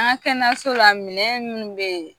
An ka kɛnɛso la minɛ minnu bɛ yen